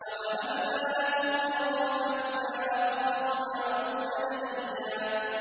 وَوَهَبْنَا لَهُ مِن رَّحْمَتِنَا أَخَاهُ هَارُونَ نَبِيًّا